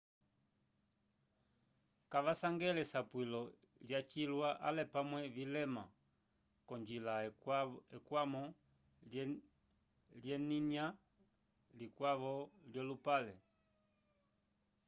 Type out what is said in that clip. kavasangele esapwilo lyacilwa ale pamwe vilema k'onjila ekwamo lyelinya likwavo lyolupale